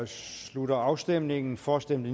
slutter afstemningen for stemte